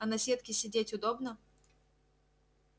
а на сетке сидеть удобно